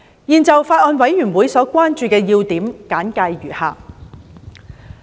現就法案委員會所關注的要點簡介如下。